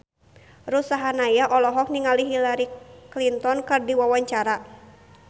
Ruth Sahanaya olohok ningali Hillary Clinton keur diwawancara